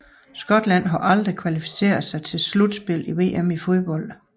Scotland har aldrig kvalificeret sig til slutspillet i VM i fodbold